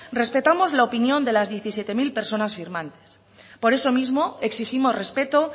respetamos la opinión de las diecisiete mil personas firmantes por eso mismo exigimos respeto